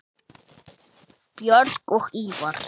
Björg og Ívar.